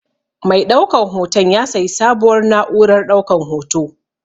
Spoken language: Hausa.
Mai ɗaukan hoton ya sayi sabuwar na'urar ɗaukan hoto.